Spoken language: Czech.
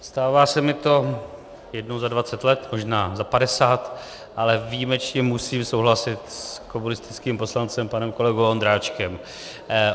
Stává se mi to jednou za dvacet let, možná za padesát, ale výjimečně musím souhlasit s komunistickým poslancem panem kolegou Ondráčkem.